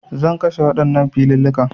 Zan kwashe waɗannan filillikan